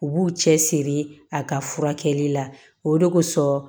U b'u cɛ siri a ka furakɛli la o de kosɔn